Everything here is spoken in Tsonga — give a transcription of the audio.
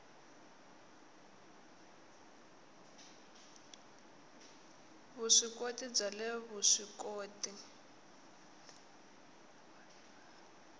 vuswikoti bya le vusw ikoti